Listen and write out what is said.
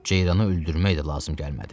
Ceyranı öldürmək də lazım gəlmədi.